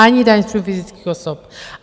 - Ani daň z příjmů fyzických osob.